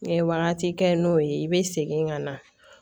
N'i ye wagati kɛ n'o ye i be segin ka na